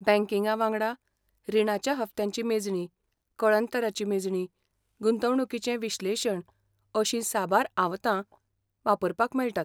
बँकिंगा वांगडा, रिणाच्या हप्त्यांची मेजणी, कळंतराची मेजणी, गुंतवणुकीचें विश्लेशण अशीं साबार आवतां वापरपाक मेळटात.